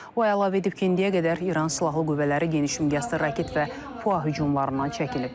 O əlavə edib ki, indiyə qədər İran silahlı qüvvələri genişmiqyaslı raket və PUA hücumlarından çəkinib.